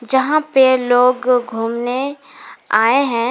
जहां पे लोग घूमने आए है।